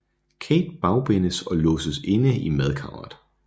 Kate bagbindes og låses inde i madkammeret